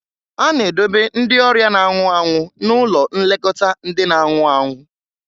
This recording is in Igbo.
A na-edobe ndị ọrịa na-anwụ anwụ n'ụlọ nlekọta ndị na-anwụ anwụ.